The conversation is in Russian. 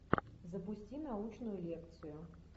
запусти научную лекцию